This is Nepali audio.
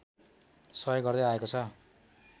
सहयोग गर्दै आएको छ